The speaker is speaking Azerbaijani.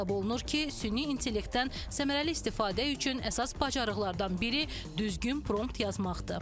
Hesab olunur ki, süni intellektdən səmərəli istifadə üçün əsas bacarıqlardan biri düzgün prompt yazmaqdır.